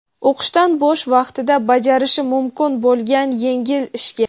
o‘qishdan bo‘sh vaqtida bajarishi mumkin bo‘lgan yengil ishga.